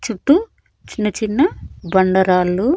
చుట్టూ చిన్న చిన్న బండరాళ్లు--